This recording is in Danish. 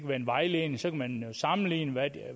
være en vejledning så man kan sammenligne